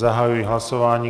Zahajuji hlasování.